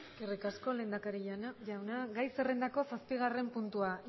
eskerrik asko lehendakari jauna gai zerrendako zazpigarren puntua